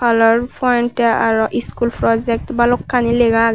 kalar point te araw school projek balokkani lega agey.